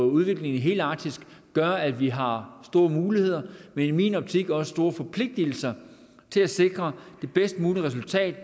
udviklingen i hele arktis gør at vi har store muligheder men i min optik også store forpligtigelser til at sikre det bedst mulige resultat